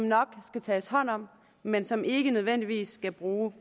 nok skal tages hånd om men som politiet ikke nødvendigvis skal bruge